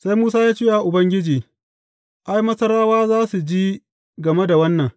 Sai Musa ya ce wa Ubangiji, Ai, Masarawa za su ji game da wannan!